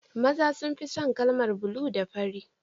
Maza sun fi son kalar bulu da fari